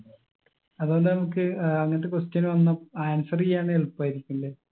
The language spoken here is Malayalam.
അത് കൊണ്ട് നമുക്ക് ഏർ അങ്ങനത്തെ question വന്ന answer എയ്യാൻ എളുപ്പായിരിക്കുംലെ